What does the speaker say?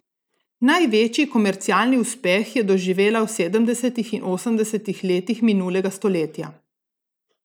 Največji komercialni uspeh je doživela v sedemdesetih in osemdesetih letih minulega stoletja.